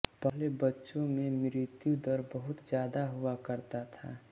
पहले बच्चों में मृत्युदर बहुत ज्यादा हुआ करता था